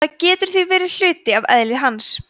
það getur þá verið hluti af eðli hans